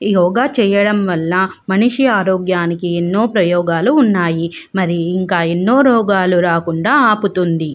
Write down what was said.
యోగ చేయడం వళ్ళ మనిషి ఆరోగ్యానికి ఎన్నో ప్రయోగాలు ఉన్నాయి మరియు ఇంకా ఎన్నో రోగాలు రాకుండా ఆపుతుంది.